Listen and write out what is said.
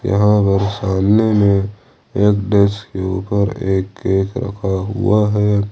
यहां मेरे सामने में एक डेस्क के ऊपर एक केक रखा हुआ है।